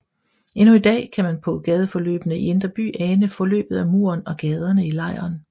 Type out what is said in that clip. Endnu i dag kan man på gadeforløbene i indre by ane forløbet af muren og gaderne i lejren